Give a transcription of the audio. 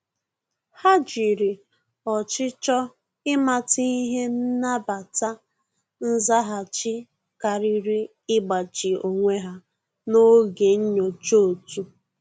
Há jìrì ọ́chịchọ̀ ị́màta ihe nàbàtá nzaghachi kàrị́rị́ ígbàchí onwe ha n’ógè nyocha òtù.